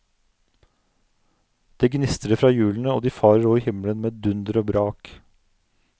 Det gnistrer fra hjulene, og de farer over himmelen med dunder og brak.